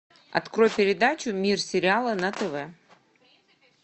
открой передачу мир сериала на тв